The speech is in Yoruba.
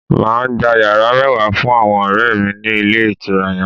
Mà á gba yàrá mẹ́wàá fún àwọn ọ̀rẹ̀ mi ní Ilé Ìtura yan